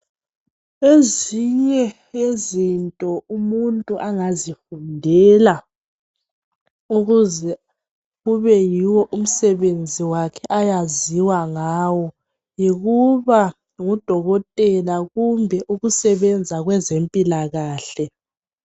Ezinye yezinto umuntu angazifundela ukuze kube yiwo umsebenzi wakhe ayaziwa ngawo yikuba ngudokotela kumbe ukusebenza kwezempilakahle.